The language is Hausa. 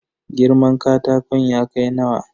Girman katakon ya kai nawa?